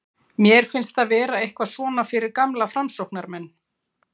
Mér finnst það vera eitthvað svona fyrir gamla framsóknarmenn.